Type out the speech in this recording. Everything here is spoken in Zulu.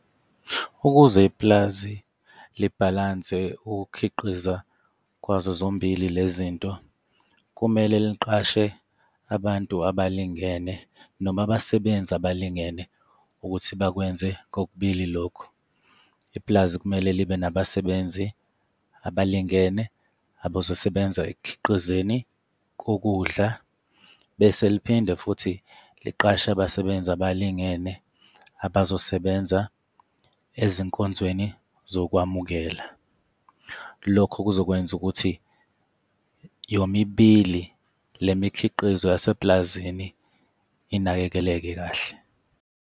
Ukuze iplazi libhalanse ukukhiqiza kwazo zombili le zinto, kumele liqashe abantu abalingene noma abasebenzi abalingene ukuthi bakwenze kokubili lokhu. Ipulazi kumele libe nabasebenzi abalingene abazosebenza ekukhiqizeni kokudla, bese liphinde futhi liqashe abasebenzi abalingene abazosebenza ezinkonzweni zokwamukela. Lokho kuzokwenza ukuthi yomibili le mikhiqizo yasepulazini inakekeleke kahle.